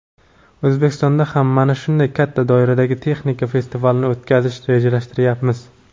O‘zbekistonda ham mana shunday katta doiradagi texnika festivalini o‘tkazishni rejalashtiryapmiz.